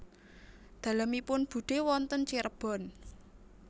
Dalemipun budhe wonten Cirebon